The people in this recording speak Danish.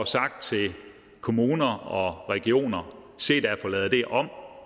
sagt til kommuner og regioner se da at få lavet det om